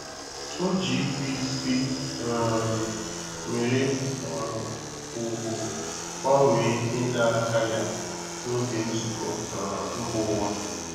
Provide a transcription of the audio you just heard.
O ji ikwe isi um nwere um ùgwù gbanwee ịna aka ya n'oge nzukọ um mba ụwa.